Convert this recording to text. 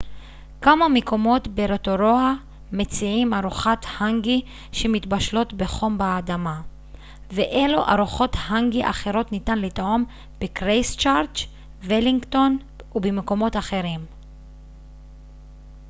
כמה מקומות ברוטורואה מציעים ארוחות האנגי שמתבשלות בחום באדמה ואילו ארוחות האנגי אחרות ניתן לטעום בקרייסטצ'רץ ולינגטון ובמקומות אחרים